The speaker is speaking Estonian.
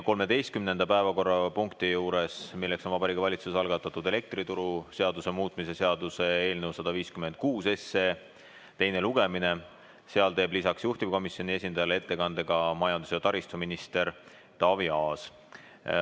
13. päevakorrapunkti juures, milleks on Vabariigi Valitsuse algatatud elektrituruseaduse muutmise seaduse eelnõu 156 teine lugemine, teeb lisaks juhtivkomisjoni esindajale ettekande ka majandus- ja taristuminister Taavi Aas.